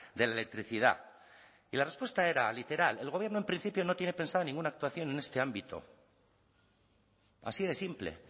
de la electricidad y la respuesta era literal el gobierno en principio no tiene pensado ninguna actuación en este ámbito así de simple